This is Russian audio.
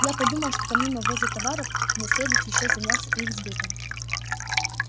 я подумал что помимо ввоза товаров мне следует ещё заняться их сбытом